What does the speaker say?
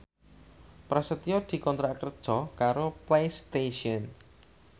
Prasetyo dikontrak kerja karo Playstation